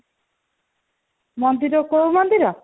ମନ୍ଦିର କୋଉ ମନ୍ଦିର